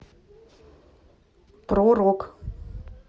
про рок